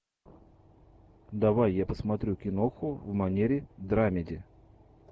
давай я посмотрю киноху в манере драмеди